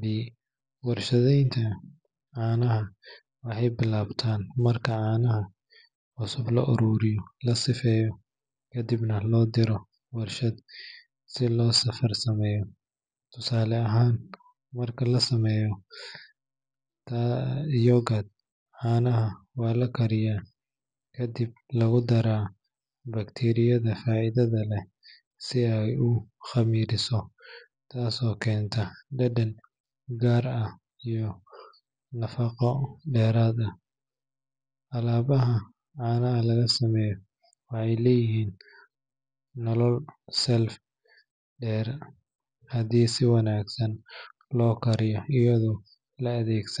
B. Warshadaynta caanaha waxay bilaabataa marka caanaha cusub la ururiyo, la safeeyo, kadibna loo diraa warshad si loogu farsameeyo. Tusaale ahaan, marka la sameynayo yogurt, caanaha waa la kariyaa kadibna lagu daraa bakteeriyada faa'iidada leh si ay u khamiiriso, taas oo keenta dhadhan gaar ah iyo nafqo dheeraad ah. Alaabaha caanaha laga sameeyo waxay leeyihiin nolol shelf dheer haddii si wanaagsan loo kaydiyo iyadoo la adeegsanayo.